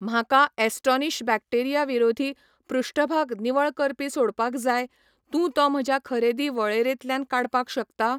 म्हाका astonish bacteria विरोधी पृष्ठभाग निवळ करपी सोडपाक जाय, तूं तो म्हज्या खरेदी वळेरेंतल्यान काडपाक शकता?